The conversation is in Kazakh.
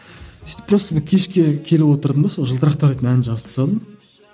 сөйтіп просто мен кешке келіп отырдым да сол жылтырақтар дейтін әнді жазып тастадым